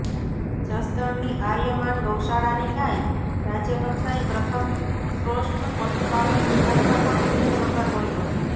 જસદણની આર્યમાન ગૌશાળાની ગાય રાજયકક્ષાએ પ્રથમ શ્રોષ્ઠ પશુપાલક વિભાગમાં પણ ત્રીજો નંબર મળ્યો